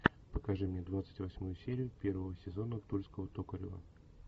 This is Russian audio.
покажи мне двадцать восьмую серию первого сезона тульского токарева